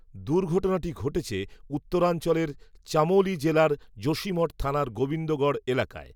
দুর্ঘটনাটি ঘটেছে উত্তরাঞ্চলের, চামোলি জেলার যোশীমঠ থানার গোবিন্দগড়, এলাকায়